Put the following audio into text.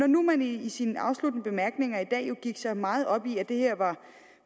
når man nu i sine afsluttende bemærkninger i dag jo gik så meget op i at det her var